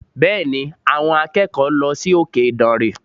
Bẹ́ẹ̀ni, àwọn akẹ́kọ̀ọ́ lọ sí òkè ìdànrè